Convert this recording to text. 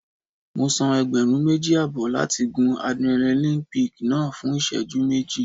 Mo san ẹgbẹ̀rún méjì àbọ̀ láti gun Adrenaline peak náà fún ìṣẹ́jú méjì.